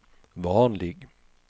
vanlig